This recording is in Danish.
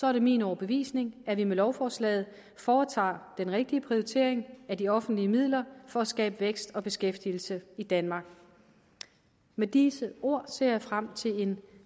er det min overbevisning at vi med lovforslaget foretager den rigtige prioritering af de offentlige midler for at skabe vækst og beskæftigelse i danmark med disse ord ser jeg frem til en